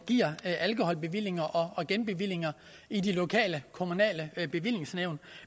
giver alkoholbevillinger og genbevillinger i de lokale kommunale bevillingsnævn